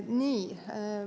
Nii.